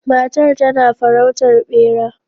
Matar tana farautar bera